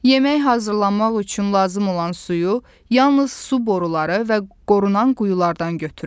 Yemək hazırlanmaq üçün lazım olan suyu yalnız su boruları və qorunan quyulardan götürün.